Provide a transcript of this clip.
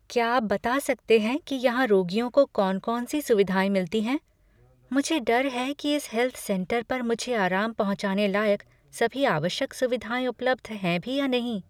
क्या आप बता सकते हैं कि यहाँ रोगियों को कौन कौन सी सुविधाएं मिलती हैं? मुझे डर है कि इस हेल्थ सेंटर पर मुझे आराम पहुंचाने लायक सभी आवश्यक सुविधाएं उपलब्ध हैं भी या नहीं।